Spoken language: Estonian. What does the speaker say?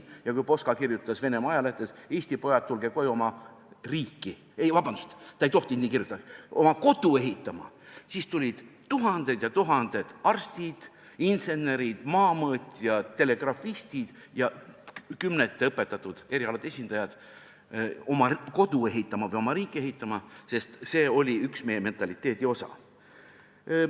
" Ja kui Poska kirjutas Venemaa ajalehtedes, et Eesti pojad, tulge koju oma riiki – ei, vabandust, ta ei tohtinud nii kirjutada –, oma kodu ehitama, siis tulid tuhanded ja tuhanded arstid, insenerid, maamõõtjad, telegrafistid ja kümnete teiste õpetatud erialade esindajad oma kodu ehitama või oma riiki ehitama, sest see oli üks meie mentaliteedi osa.